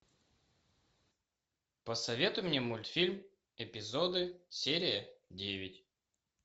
посоветуй мне мультфильм эпизоды серия девять